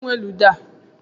Kedụ onye nwe ludo a?